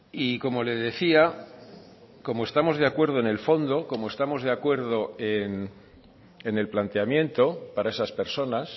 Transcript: y como le decía como estamos de acuerdo en el fondo como estamos de acuerdo en el planteamiento para esas personas